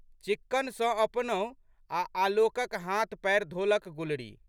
चिक्कन सँ अपनहु आ' आलोकक हाथ पएर धोलक गुलरी।